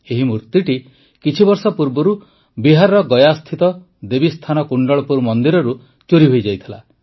ଏହି ମୂର୍ତ୍ତିଟି କିଛିବର୍ଷ ପୂର୍ବରୁ ବିହାରର ଗୟାସ୍ଥିତ ଦେବୀସ୍ଥାନ କୁଣ୍ଡଳପୁର ମନ୍ଦିରରୁ ଚୋରି ହୋଇଯାଇଥିଲା